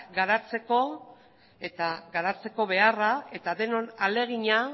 garatzeko beharra eta denon ahalegina